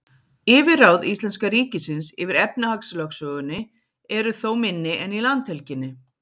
yfirráð íslenska ríkisins yfir efnahagslögsögunni eru þó minni en í landhelginni